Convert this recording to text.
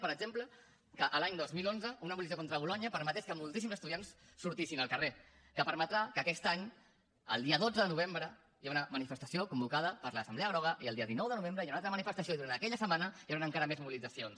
per exemple que l’any dos mil onze una mobilització contra bolonya permetés que moltíssims estudiants sortissin al carrer que permetrà que aquest any el dia dotze de novembre hi hagi una manifestació convocada per l’assemblea groga i el dia dinou de novembre hi ha una altra manifestació i durant aquella setmana hi hauran encara més mobilitzacions